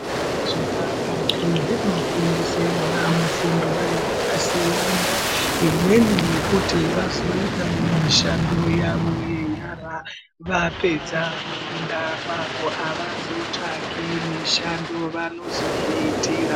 Zvikora zvepakati zvino fundisa vana fundo dzaka siyana imweni yekuti vazoita mishando yavo ye nyara vapedza kufunda kwako havazo tsvagi mishando vanozo zviitira.